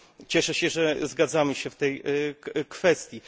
Cieszę się, że zgadzamy się w tej kwestii.